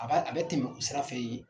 A b'a a bɛ tɛmɛ o sira fɛ yen